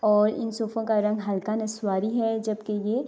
اور صوفو کو رنگ ہلکا نشواری ہے جبکی یہ--